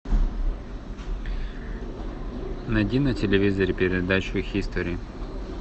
найди на телевизоре передачу хистори